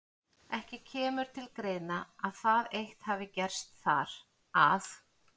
Ekki kemur til greina, að það eitt hafi gerst þar, að